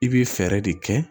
I bɛ fɛɛrɛ de kɛ